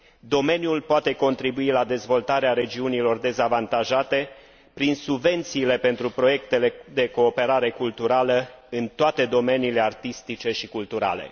Domeniul poate contribui la dezvoltarea regiunilor dezavantajate prin subvențiile pentru proiectele de cooperare culturală în toate domeniile artistice și culturale.